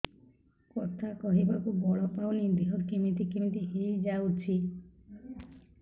କଥା କହିବାକୁ ବଳ ପାଉନି ଦେହ କେମିତି କେମିତି ହେଇଯାଉଛି